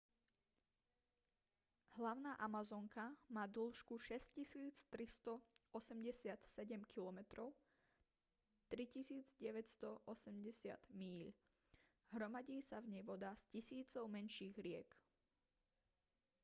hlavná amazonka má dĺžku 6 387 km 3 980 míľ. hromadí sa v nej voda z tisícov menších riek